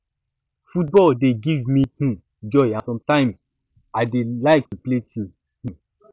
football dey give me um joy and sometimes um i dey like to play too um